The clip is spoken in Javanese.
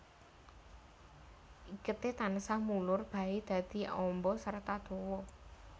Iketé tansah mulur baé dadi amba serta dawa